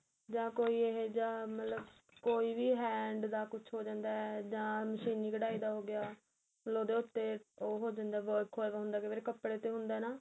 ਜਾਂ ਕੋਈ ਇਹ ਜਾ ਮਤਲਬ ਕੋਈ ਵੀ hand ਦਾ ਕੁੱਝ ਹੋ ਜਾਂਦਾ ਜਾਂ ਮਸ਼ੀਨੀ ਘੱਡਾਈ ਦਾ ਹੋ ਗਿਆ ਹਦੇ ਉੱਤੇ ਉਹ ਹੋ ਜਾਂਦਾ work ਹੋਇਆ ਪਿਆ ਹੁੰਦਾ ਕਈ ਵਾਰੀ ਕਪੜੇ ਤੇ ਹੁੰਦਾ ਨਾ